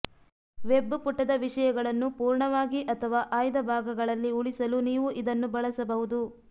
web ಪುಟದ ವಿಷಯಗಳನ್ನು ಪೂರ್ಣವಾಗಿ ಅಥವಾ ಆಯ್ದ ಭಾಗಗಳಲ್ಲಿ ಉಳಿಸಲು ನೀವು ಇದನ್ನು ಬಳಸಬಹುದು